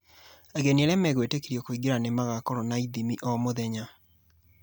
Ageni arĩa megwĩtĩkĩrio kũingĩra nĩ magakoragwo na ĩthimi o mũthenya.